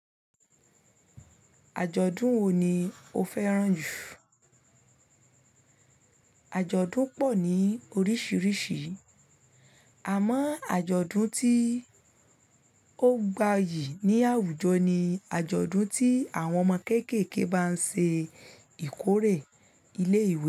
Àjọ̀dún wo ni o fẹ́ràn jù? Àjọ̀dún pọ̀ ní oríṣiríṣi, àmọ́ àjọ̀dún tí ó gbayì ní àwùjọ ni àjọ̀dún tí àwọn ọmọ kéékèèké bá ń ṣe ìkórè ilé ìwé.